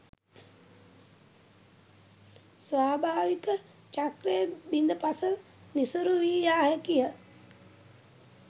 ස්වභාවික චක්‍රය බිඳ පස නිසරු වී යා හැකිය.